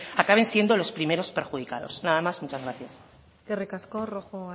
acaben siendo los primeros perjudicados nada más muchas gracias eskerrik asko rojo